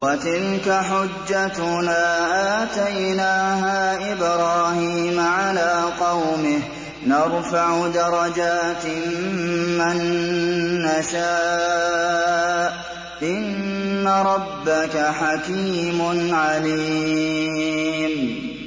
وَتِلْكَ حُجَّتُنَا آتَيْنَاهَا إِبْرَاهِيمَ عَلَىٰ قَوْمِهِ ۚ نَرْفَعُ دَرَجَاتٍ مَّن نَّشَاءُ ۗ إِنَّ رَبَّكَ حَكِيمٌ عَلِيمٌ